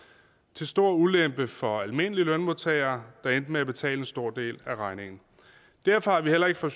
til stor ulempe for almindelige lønmodtagere der endte med at betale en stor del af regningen derfor har vi heller ikke fra